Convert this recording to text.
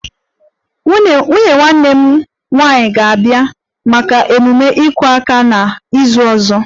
Nwunye nwanne m nwanyị ga-abịa maka ememe 'iku aka' n'izu ọzọ